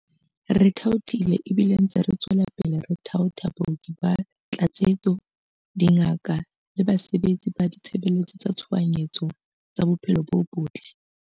Re thaothile ebile re ntse re tswela pele ho thaotha baoki ba tlatsetso, dingaka le basebetsi ba ditshebeletso tsa tshohanyetso tsa bophelo bo botle.